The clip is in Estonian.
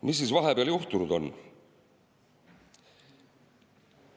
Mis siis vahepeal juhtunud on?